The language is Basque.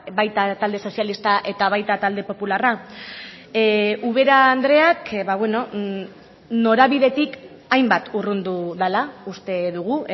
baita talde sozialista eta baita talde popularra ubera andreak norabidetik hainbat urrundu dela uste dugu